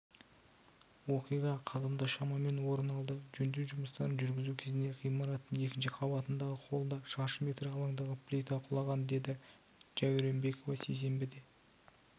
оқиға қазанда шамамен орын алды жөндеу жұмыстарын жүргізу кезінде ғимараттың екінші қабатындағы холда шаршы метр алаңдағы плита құлаған дедіж дәуренбекова сейсенбіде